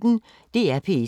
DR P1